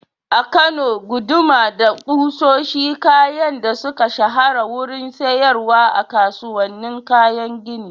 A Kano, guduma da kusoshi kayan da suka shahara wurin siyarwa a kasuwannin kayan gini.